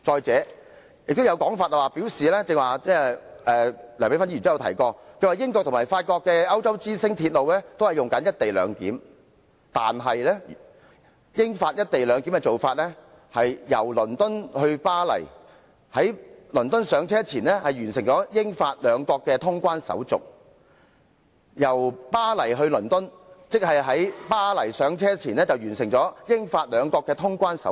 此外，亦有人——梁美芬議員剛才也曾提及連接英國及法國的鐵路"歐洲之星"也採取"一地兩檢"的安排——但其做法是，由倫敦前往巴黎時，乘客須在倫敦登車前完成了英法兩國的通關手續；由巴黎前往倫敦時，則須在巴黎登車前完成了英法兩國的通關手續。